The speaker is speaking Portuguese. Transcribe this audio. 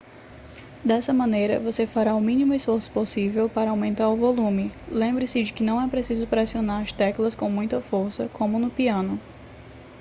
dessa maneira você fará o mínimo esforço possível para aumentar o volume lembre-se de que não é preciso pressionar as teclas com muita força como no piano